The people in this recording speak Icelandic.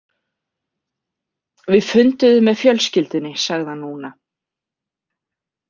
Við funduðum með fjölskyldunni, sagði hann núna.